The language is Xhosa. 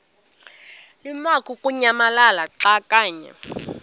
lamukunyamalala xa kanye